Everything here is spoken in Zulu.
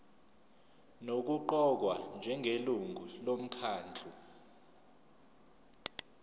nokuqokwa njengelungu lomkhandlu